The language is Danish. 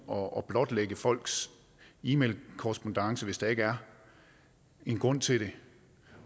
og blotlægge folks e mailkorrespondance hvis der ikke er en grund til det